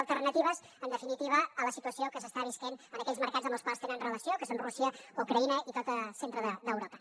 alternatives en definitiva a la situació que s’està vivint en aquells mercats amb els quals tenen relació que són rússia ucraïna i tot el centre d’europa